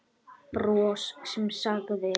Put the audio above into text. Bros sem sagði